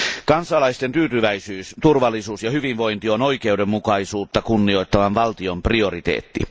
Kansalaisten tyytyväisyys, turvallisuus ja hyvinvointi on oikeudenmukaisuutta kunnioittavan valtion prioriteetti.